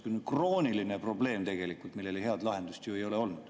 See on krooniline probleem, millele head lahendust ei ole olnud.